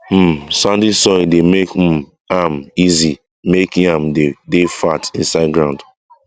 um sandy soil dey make um am easy make yam dey dey fat inside ground